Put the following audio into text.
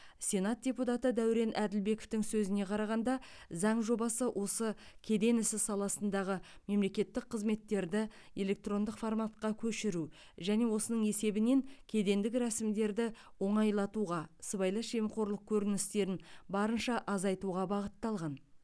сенат депутаты дәурен әділбековтің сөзіне қарағанда заң жобасы осы кеден ісі саласындағы мемлекеттік қызметтерді электрондық форматқа көшіру және осының есебінен кедендік рәсімдерді оңайлатуға сыбайлас жемқорлық көріністерін барынша азайтуға бағытталған